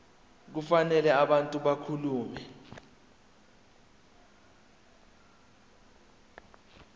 kufanele abantu bakhumbule